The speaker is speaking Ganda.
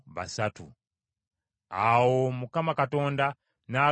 Awo Mukama Katonda n’agamba Musa nti,